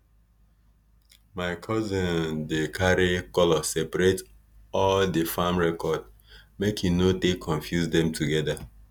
my cousion dey carry colour sepaerate all di farm record make he no take confuse dem togeda